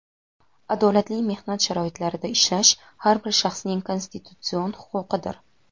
adolatli mehnat sharoitlarida ishlash – har bir shaxsning konstitutsion huquqidir.